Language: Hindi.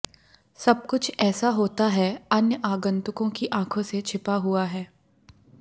सब कुछ ऐसा होता है अन्य आगंतुकों की आंखों से छिपा हुआ है